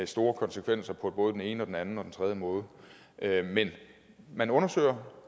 store konsekvenser på både den ene og den anden og den tredje måde men man undersøger